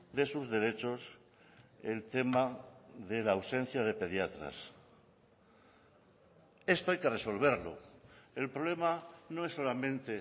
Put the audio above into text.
de sus derechos el tema de la ausencia de pediatras esto hay que resolverlo el problema no es solamente